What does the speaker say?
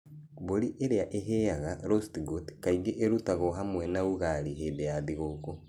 Mbũri ĩrĩa ĩhĩaga (roast goat) kaingĩ ĩrutagwo hamwe na ugali hĩndĩ ya thigũkũ.